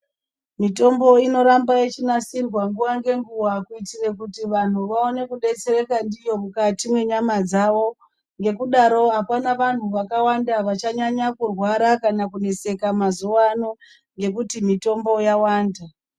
Mitombo inoramba ichinasirwa nguwa nenguwa kuitira kuti vantu vaone kudetsereka ndiyo mukati menyama dzavo ngekudaro akuna vantu vakawanda vachanyanya kurwara kana kuneseka mazuwa ano ngekuti mitombo yawanda.